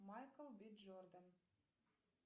майкл би джордан